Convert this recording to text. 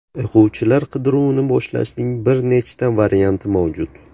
O‘quvchilar qidiruvini boshlashning bir nechta varianti mavjud.